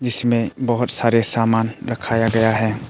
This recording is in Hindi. जिसमें बहुत सारे सामान रखाया गया है।